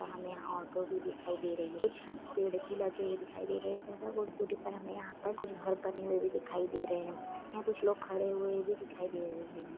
यहाँ हमे ऑटो भी दिखाई दे रही है कुछ पेड़ भी लगे हुए दिखाई दे रहे है हमे यहाँ पर हमे घर बने हुए भी दिखाई दे रहे हैं यहाँ कुछ लोग खड़े हुए भी दिखाई दे रहे है।